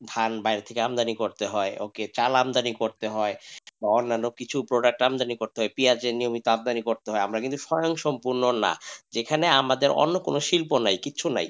ধান বাইরে থেকে আমদানি করতে হয় ওকে চাল আমদানি করতে হয় অন্যান্য কিছু product আমদানি করতে হয় পেঁয়াজ নিয়মিত আমদানি করতে হয় আমরা কিন্তু স্বয়ংসম্পূর্ণ না যেখানে আমাদের কোন শিল্প নাই কিছু নাই,